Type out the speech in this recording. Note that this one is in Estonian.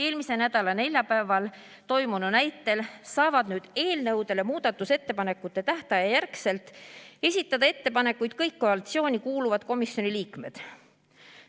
Eelmise nädala neljapäeval toimunu näitel saavad nüüd muudatusettepanekute tähtaja järgselt esitada eelnõu kohta ettepanekuid kõik koalitsiooni kuuluvad komisjoni liikmed.